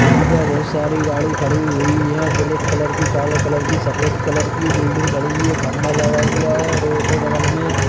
यहां पे बहुत सारी गाड़ी खड़ी हुई है ब्लैक कलर की काले कलर की सफेद कलर की बिल्डिंग खड़ी हुई है खम्मा लगा हुआ है रोड है बगल में --